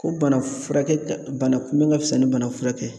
Ko bana furakɛ ka bana kunbɛn ka fisa ni bana furakɛ ye.